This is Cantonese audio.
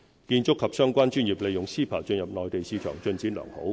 建築及相關專業利用 CEPA 進入內地市場，進展良好。